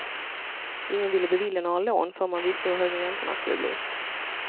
Ingen ville bevilja några lån förrän man visste hur höga räntorna skulle bli.